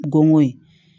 Gongon ye